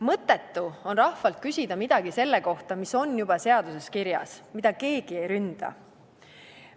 Mõttetu on rahvalt küsida midagi selle kohta, mis on juba seaduses kirjas, mida keegi ei ründa.